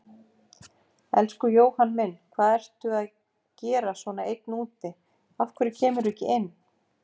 Elsku Jóhann minn, hvað ertu að gera svona einn úti, af hverju kemurðu ekki inn?